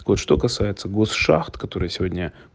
от что касается госшахт которые сегодня